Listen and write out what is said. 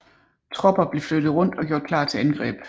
Tropper blev flyttet rundt og gjort klar til angreb